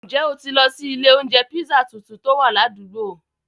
Njẹ́ o tì lọ sí ilẹ̀ ọ̀unjẹ̀ pízzà tuntun tó wà làdùgbò?